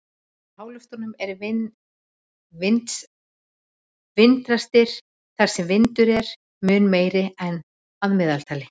Í háloftunum eru vindrastir þar sem vindur er mun meiri en að meðaltali.